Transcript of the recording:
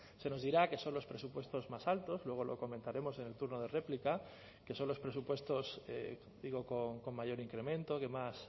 se nos dirá que son los presupuestos más altos luego lo comentaremos en el turno de réplica que son los presupuestos digo con mayor incremento que más